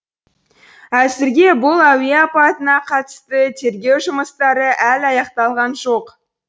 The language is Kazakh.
әзірге бұл әуе апатына қатысты тергеу жұмыстары әлі аяқталған жоқ